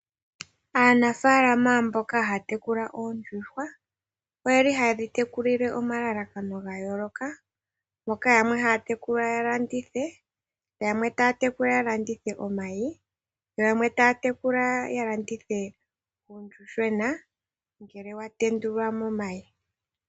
Aanafaalama mboka haya tekula oondjuuhwa oha yedhi tekulile omalalakano gayooloka mboka yamwe haya tekula yalandithe, yamwe taya tekula yalandithe omayi, yo yamwe taya tekula yalandithe uuyuhwena ngele watendulwa momayi.